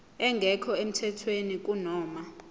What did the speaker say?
engekho emthethweni kunoma